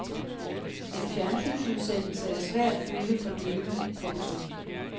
En fjernsynsudsendelse er svær at følge for døve. punktum